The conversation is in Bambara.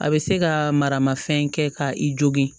A bɛ se ka maramafɛn kɛ ka i jogin